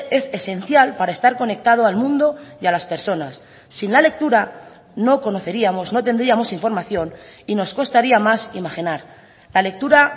es esencial para estar conectado al mundo y a las personas sin la lectura no conoceríamos no tendríamos información y nos costaría más imaginar la lectura